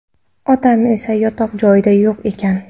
Otam esa yotoq joyida yo‘q ekan.